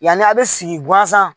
Yani a' be sigi gansan